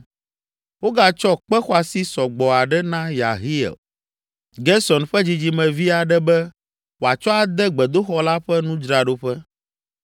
Wogatsɔ kpe xɔasi sɔ gbɔ aɖe na Yehiel, Gerson ƒe dzidzimevi aɖe be, wòatsɔ ade gbedoxɔ la ƒe nudzraɖoƒe.